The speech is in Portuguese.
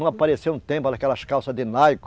Não apareceu um tempo aquelas calças de